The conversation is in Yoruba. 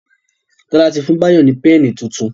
Tola tí fún Bayo ní Pẹ́ẹ̀nì títún.